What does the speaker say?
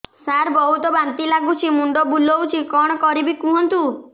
ସାର ବହୁତ ବାନ୍ତି ଲାଗୁଛି ମୁଣ୍ଡ ବୁଲୋଉଛି କଣ କରିବି କୁହନ୍ତୁ